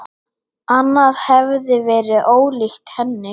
Annað hefði verið ólíkt henni.